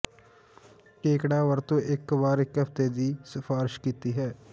ਕੇਕੜਾ ਵਰਤੋ ਇੱਕ ਵਾਰ ਇੱਕ ਹਫ਼ਤੇ ਦੀ ਸਿਫਾਰਸ਼ ਕੀਤੀ ਹੈ